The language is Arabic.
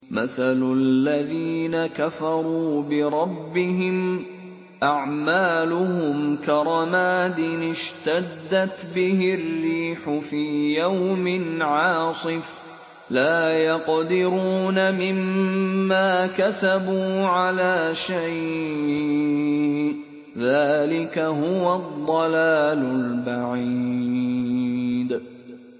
مَّثَلُ الَّذِينَ كَفَرُوا بِرَبِّهِمْ ۖ أَعْمَالُهُمْ كَرَمَادٍ اشْتَدَّتْ بِهِ الرِّيحُ فِي يَوْمٍ عَاصِفٍ ۖ لَّا يَقْدِرُونَ مِمَّا كَسَبُوا عَلَىٰ شَيْءٍ ۚ ذَٰلِكَ هُوَ الضَّلَالُ الْبَعِيدُ